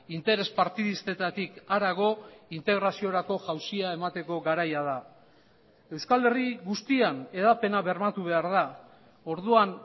interes partidistetatik harago integraziorako jauzia emateko garaia da euskal herri guztian hedapena bermatu behar da orduan